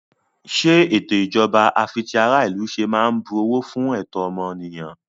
Ṣé ètò ìjọba àfitiaráìlúṣe máa ń bu ọ̀wọ̀ fú ẹ̀tọ́ ọmọnìyàn?